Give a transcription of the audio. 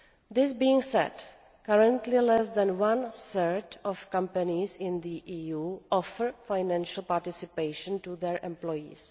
This being said, currently less than one third of companies in the EU offer financial participation to their employees.